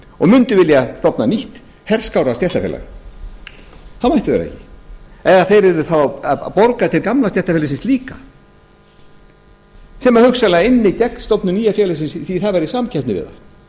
og mundu vilja stofna nýtt herskárra stéttarfélag þá mættu þeir það ekki eða þeir yrðu þá að borga til gamla stéttarfélagsins líka sem hugsanlega ynni gegn stofnun nýja félagsins því það væri samkeppni við